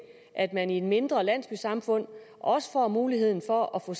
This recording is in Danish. at man i et mindre landsbysamfund også får muligheden for at få